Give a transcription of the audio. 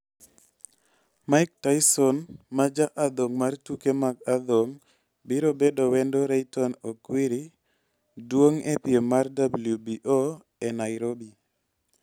Mike Tyson ma ja adhong' mar tuke mag adhong' biro bedo wendo Rayton Okwiri duong' e piem mar WBO e Nairobi